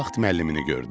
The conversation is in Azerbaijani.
Bu vaxt müəllimini gördüm.